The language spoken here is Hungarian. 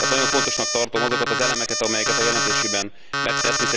Tehát nagyon fontosnak tartom azokat az elemeket, amelyeket a jelentésében említ.